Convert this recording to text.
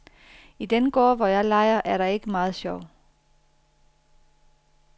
I den gård, hvor jeg leger, er der ikke meget sjov.